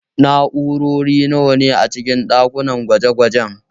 Na'urori nawa ne a cikin ɗakin gwaje-gwajen